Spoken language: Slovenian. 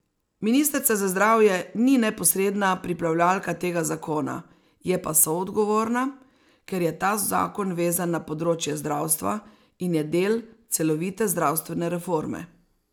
Ministrica za zdravje ni neposredna pripravljalka tega zakona, je pa soodgovorna, ker je ta zakon vezan na področje zdravstva in je del celovite zdravstvene reforme.